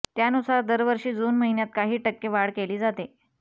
त्यानुसार दरवर्षी जून महिन्यात काही टक्के वाढ केली जाते